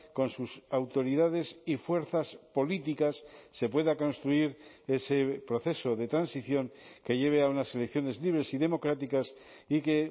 con sus autoridades y fuerzas políticas se pueda construir ese proceso de transición que lleve a unas elecciones libres y democráticas y que